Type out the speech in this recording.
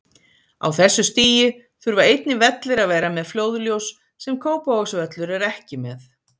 Á þessu stigi þurfa einnig vellir að vera með flóðljós, sem Kópavogsvöllur er ekki með.